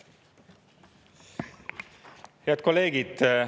Head kolleegid!